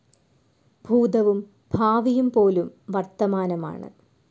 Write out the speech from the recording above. ഭൂതവും ഭാവിയും പോലും വർത്തമാനമാണ്‌.